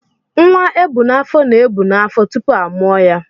Nwa ebu n'afọ na-ebù n'afọ tupu a mụọ ya.